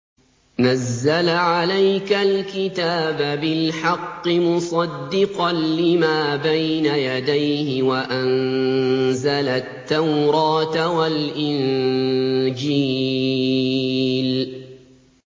نَزَّلَ عَلَيْكَ الْكِتَابَ بِالْحَقِّ مُصَدِّقًا لِّمَا بَيْنَ يَدَيْهِ وَأَنزَلَ التَّوْرَاةَ وَالْإِنجِيلَ